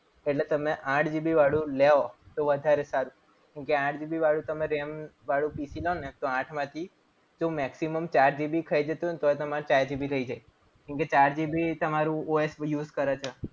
એટલે તમે આઠ GB વાળું લો તો વધારે સારું. કેમ કે, આઠ GB વાળું તમને RAM વાળું PC લો ને તો આઠમાંથી તો maximum ચાર GB ખાઈ જતું હોય. ને તો એ તમારે ચાર GB રહી જાય. કેમ કે ચાર GB તમારું OS use કરે છે.